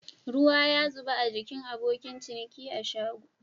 Ruwa ya zuba a gikin abokin ciniki a shago.